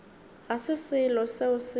ga se selo seo se